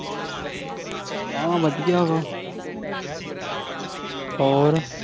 ਆਹੋ ਵਧੀਆ ਵਾ ਹੋਰ।